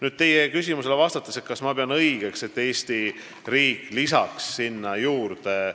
Nüüd vastan teie küsimusele, kas ma pean õigeks, et Eesti riik lisaks sinna toetuseraha juurde.